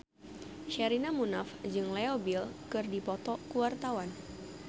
Sherina Munaf jeung Leo Bill keur dipoto ku wartawan